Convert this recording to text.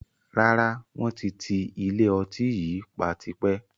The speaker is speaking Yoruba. Rárá, wọn ti ti ilé ọtí yìí pa tipẹ́